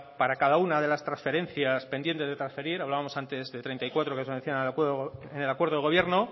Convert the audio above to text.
para cada una de las transferencias pendiente de transferir hablábamos antes de treinta y cuatro que se decía en el acuerdo de gobierno